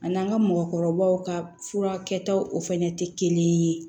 Ani an ka mɔgɔkɔrɔbaw ka fura kɛtaw o fɛnɛ tɛ kelen ye